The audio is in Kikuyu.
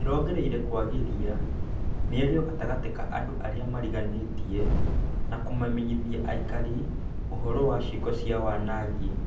ĩrongereire kwagĩria mĩario gatagatĩ ka andũarĩa mariganĩtie, na kũmamenyithĩa aikari ũhoro wa ciĩko cia wanangi.